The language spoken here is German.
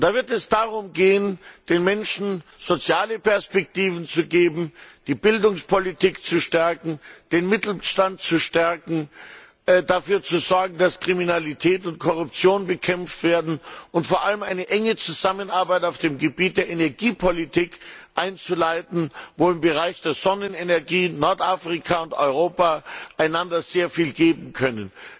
Dabei wird es darum gehen, den Menschen soziale Perspektiven zu geben, die Bildungspolitik zu stärken, den Mittelstand zu stärken, dafür zu sorgen, dass Kriminalität und Korruption bekämpft werden und vor allem eine enge Zusammenarbeit auf dem Gebiet der Energiepolitik einzuleiten, wo im Bereich der Sonnenenergie Nordafrika und Europa einander sehr viel geben können.